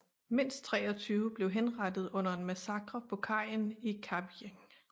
Mindst 23 blev henrettet under en massakre på kajen i Kavieng